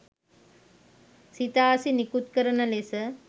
සිතාසි නිකුත් කරන ලෙස